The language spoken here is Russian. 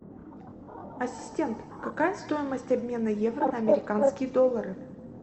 ассистент какая стоимость обмена евро на американские доллары